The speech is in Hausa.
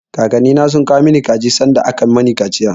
Kakannina sun kawo mun kaji sanda aka mani kaciya.